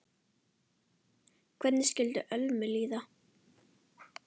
Hvernig skyldi Ölmu líða?